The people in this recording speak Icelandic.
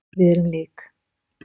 Við erum lík.